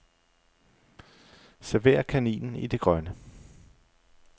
Server kaninen i det grønne.